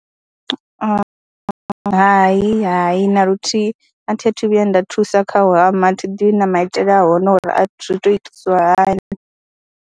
Hai, hai na luthihi a thi a thu vhuya nda thusa kha u hama, a thi ḓivhi na maitele a hone uri a zwi tou itisiwa hani.